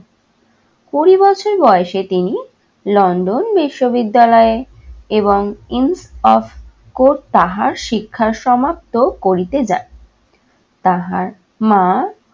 কুড়ি বছর বয়সে তিনি london বিশ্ববিদ্যালয়ে এবং তাহার শিক্ষা সমাপ্ত করিতে যান । তাহার মা